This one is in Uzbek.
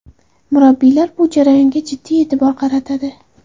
Murabbiylar bu jarayonga jiddiy e’tibor qaratadi.